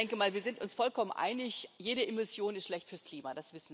Ich denke mal, wir sind uns vollkommen einig Jede Emission ist schlecht fürs Klima.